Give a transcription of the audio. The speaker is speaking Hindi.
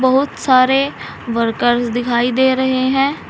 बहुत सारे वर्कर्स दिखाई दे रहे हैं।